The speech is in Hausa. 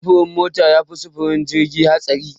Sufurin mota yafi sufurin jirgi hatsari.